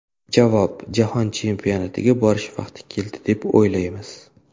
Javob: Jahon chempionatiga borish vaqti keldi, deb o‘ylaymiz.